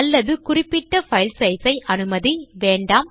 அல்லது குறிப்பிட்ட file size ஐ அனுமதி வேண்டாம்